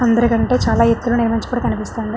అందరి కంటే చాలా ఎత్తులో నిర్మించబడి కనిపిస్తుంది.